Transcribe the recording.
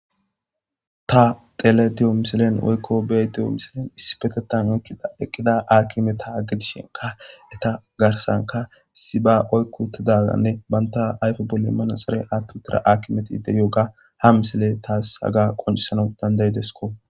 Ta tele diyo misilen woykko bee diyo misilen issi petetan oykkida eqqida aakimeta aggedishenka eta garsanka siba oykkutidaganne banta ayfe bolle immana xare aattu tira akimeti ide yooga ha misile taas haga qoncisana dandayidesko